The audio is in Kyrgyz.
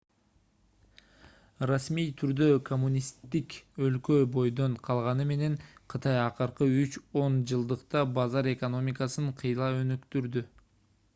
расмий түрдө коммунисттик өлкө бойдон калганы менен кытай акыркы үч он жылдыкта базар экономикасын кыйла өнүктүрдү